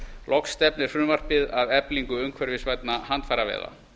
loks stefnir frumvarpið að eflingu umhverfisvænna handfæraveiða